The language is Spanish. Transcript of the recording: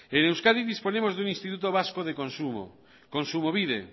en euskadi disponemos de un instituto vasco de consumo kontsumobide